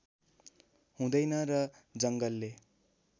हुँदैन र जङ्गलले